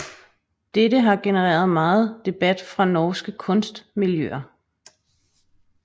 Dette har genereret meget debat fra norske kunstmiljøer